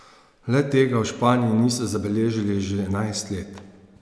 Le tega v Španiji niso zabeležili že enajst let.